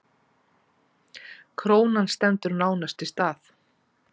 Krónan stendur nánast í stað